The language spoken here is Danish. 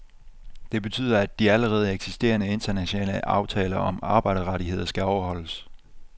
Det betyder, at de allerede eksisterende, internationale aftaler om arbejderrettigheder skal overholdes.